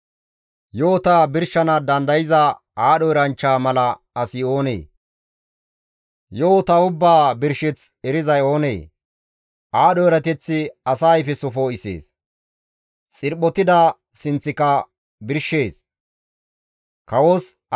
Yo7ota birshana dandayza aadho eranchcha mala asi oonee? Yo7ota ubbaa birsheth erizay oonee? Aadho erateththi asa ayfeso poo7isees; xirphotida sinththika birshees.